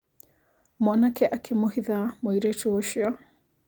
Mwanake akĩmũhitha mũirĩtu ũcio.